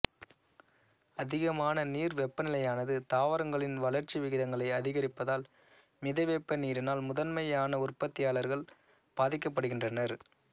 அதிகமான நீர் வெப்பநிலையானது தாவரங்களின் வளர்ச்சி விகிதங்களை அதிகரிப்பதால் மிதவெப்ப நீரினால் முதன்மையான உற்பத்தியாளர்கள் பாதிக்கப்படுகின்றனர்